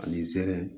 Ani zɛrɛne